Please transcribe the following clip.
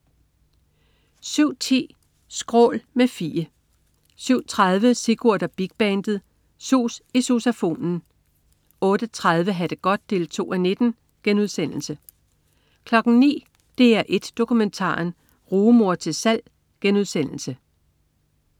07.10 Skrål. Med Fie 07.30 Sigurd og Big Bandet. Sus i sousafonen 08.30 Ha' det godt 2:19* 09.00 DR1 Dokumentaren. Rugemor til salg*